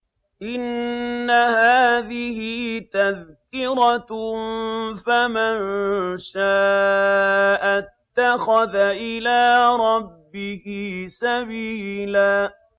إِنَّ هَٰذِهِ تَذْكِرَةٌ ۖ فَمَن شَاءَ اتَّخَذَ إِلَىٰ رَبِّهِ سَبِيلًا